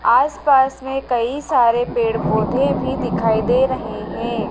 आस पास में कई सारे पेड़ पौधे भी दिखाई दे रहे है।